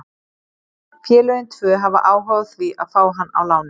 Félögin tvö hafa áhuga á því að fá hann á láni.